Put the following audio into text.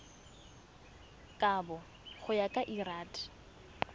kabo go ya ka lrad